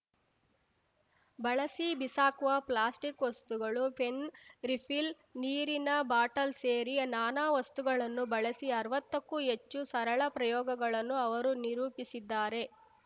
ಬಳಸಿ ಬಿಸಾಕುವ ಪ್ಲಾಸ್ಟಿಕ್‌ ವಸ್ತುಗಳು ಪೆನ್‌ ರಿಫಿಲ್‌ ನೀರಿನ ಬಾಟಲ್‌ ಸೇರಿ ನಾನಾ ವಸ್ತುಗಳನ್ನು ಬಳಸಿ ಅರ್ವತ್ತಕ್ಕೂ ಹೆಚ್ಚು ಸರಳ ಪ್ರಯೋಗಗಳನ್ನು ಅವರು ನಿರೂಪಿಸಿದ್ದಾರೆ